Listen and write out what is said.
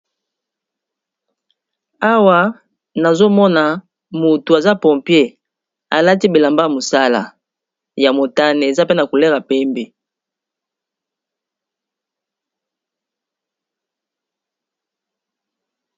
Awa nazomona mutu aza pompier alati bilamba ya musala ya motane eza pena couleur ya pembe.